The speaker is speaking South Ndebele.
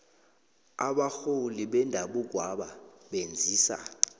abarholi bendabukwaba benzisa